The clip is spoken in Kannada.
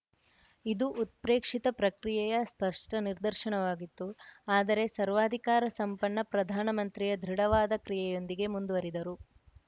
ಇದು ಉತ್ಪ್ರೇಕ್ಷಿತ ಪ್ರತಿಕ್ರಿಯೆಯ ಸ್ಪಷ್ಟನಿದರ್ಶನವಾಗಿತ್ತು ಆದರೆ ಸರ್ವಾಧಿಕಾರ ಸಂಪನ್ನ ಪ್ರಧಾನಮಂತ್ರಿಯು ದೃಢವಾದ ಕ್ರಿಯೆಯೊಂದಿಗೆ ಮುಂದುವರಿದರು